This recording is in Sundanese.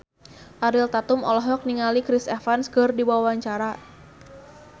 Ariel Tatum olohok ningali Chris Evans keur diwawancara